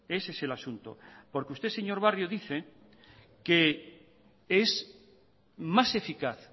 ese es el asunto porque usted señor barrio dice que es más eficaz